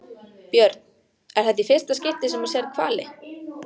Björn: Er þetta í fyrsta skipti sem þú sérð hvali?